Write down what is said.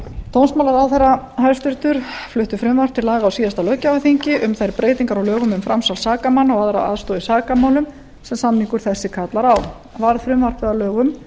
dómsmálaráðherra hæstvirtur flutti frumvarp á laga á síðasta löggjafarþingi um þær breytingar á lögum um framsal sakamanna og aðra aðstoð í sakamálum sem samningur þessi kallar á varð frumvarpið að lögum